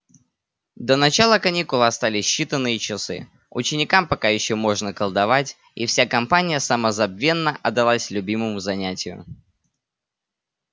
до начала каникул остались считанные часы ученикам пока ещё можно колдовать и вся компания самозабвенно отдалась любимому занятию